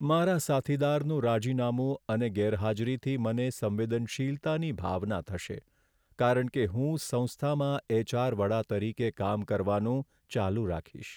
મારા સાથીદારનું રાજીનામું અને ગેરહાજરીથી મને સંવેદનશીલતાની ભાવના થશે કારણ કે હું સંસ્થામાં એચ.આર. વડા તરીકે કામ કરવાનું ચાલુ રાખીશ.